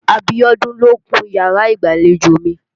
Abiọ́dún ló kun yàrá ìgbàlejò mi.